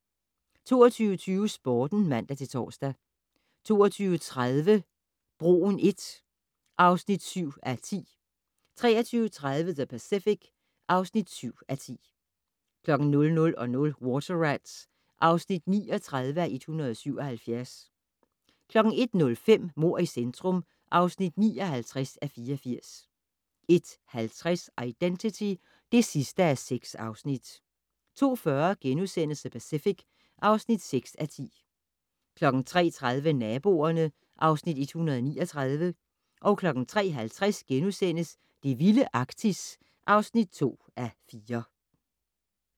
22:20: Sporten (man-tor) 22:30: Broen I (7:10) 23:30: The Pacific (7:10) 00:20: Water Rats (39:177) 01:05: Mord i centrum (59:84) 01:50: Identity (6:6) 02:40: The Pacific (6:10)* 03:30: Naboerne (Afs. 139) 03:50: Det vilde Arktis (2:4)*